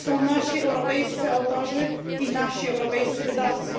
To są nasi europejscy autorzy i nasi europejscy wydawcy.